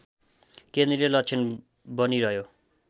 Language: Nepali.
केन्द्रीय लक्षण बनिरह्यो